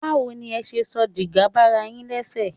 Báwo ni ẹ ṣe sọ dígà bara yín lẹ́sẹ̀?